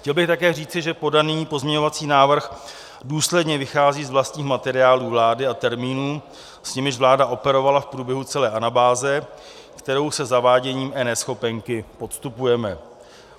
Chtěl bych také říci, že podaný pozměňovací návrh důsledně vychází z vlastních materiálů vlády a termínů, s nimiž vláda operovala v průběhu celé anabáze, kterou se zaváděním eNeschopenky podstupujeme.